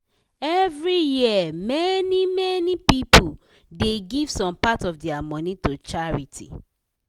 every year many-many people dey give some part of dia money to charity.